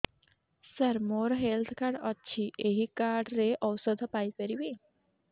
ସାର ମୋର health card ଅଛି ଏହି କାର୍ଡ ରେ ଔଷଧ ପାଇପାରିବି